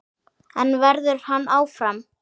En verður hann áfram?